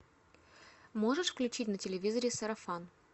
можешь включить на телевизоре сарафан